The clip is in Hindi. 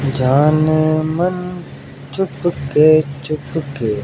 जाने मन चुपके-चुपके --